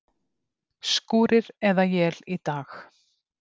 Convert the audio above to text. Skúrir eða él í dag